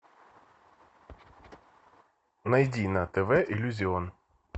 найди на тв иллюзион